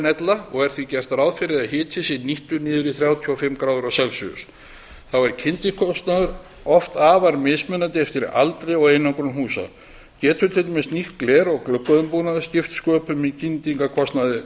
ella og er því gert ráð fyrir að hiti sé nýttur niður í þrjátíu og fimm gráður þá er kyndikostnaður oft afar mismunandi eftir aldri og einangrun húsa getur til dæmis nýtt gler og gluggaumbúnaður skipt sköpum í kyndingarkostnaði